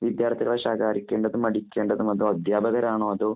വിദ്യാര്‍ത്ഥികളെ ശകാരിക്കേണ്ടതും, അടിക്കേണ്ടതും. അതോ അധ്യാപകരാണോ, അതോ